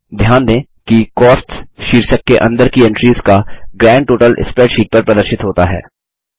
ध्यान दें कि कॉस्ट्स शीर्षक के अंदर की एंट्रीस का ग्रैंड टोटल स्प्रेडशीट पर प्रदर्शित होता है